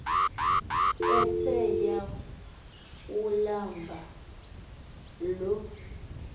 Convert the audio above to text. ethe yawulamba lo